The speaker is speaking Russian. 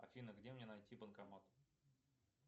афина где мне найти банкомат